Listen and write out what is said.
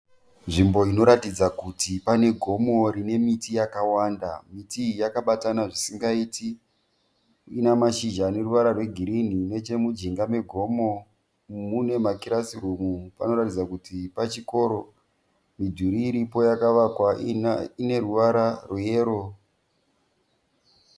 Nzvimbo inoratidza kuti pane gomo rine miti yakawanda. Miti iyi yakabatana zvisingaiti ine mashizha ane ruvara rwegirini. Nechemujinga megomo mune makirasirumu panoratidza kuti pachikoro. Midhuri iripo yakavakwa ine ruvara rweyero .